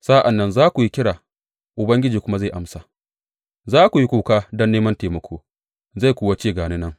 Sa’an nan za ku yi kira, Ubangiji kuma zai amsa; za ku yi kuka don neman taimako, zai kuwa ce ga ni nan.